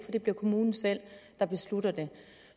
det bliver kommunen selv der beslutter det